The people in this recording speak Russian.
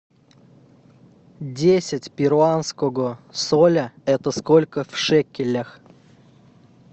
десять перуанского соля это сколько в шекелях